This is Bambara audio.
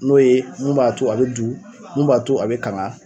N'o ye mun b'a to a be du, mun b'a to a be kaŋa